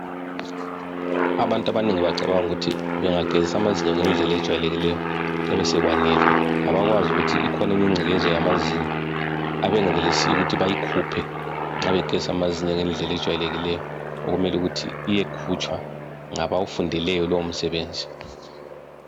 Abantu abanengi bacabanga ukuthi bengageza amazinyo ngedlela ejwayelekileyo kuyabe sekwanele abakwazi ukuthi ikhona enye ingcekeza yamazinyo abangenelisiyo ukuthi bayikhuphe nxa begeza amazinyo ngedlela ejwayelekileyo okumele ukuthi iyekhutshwa ngabawufundeleyo lowo msebenzi